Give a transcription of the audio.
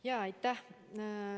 Aitäh!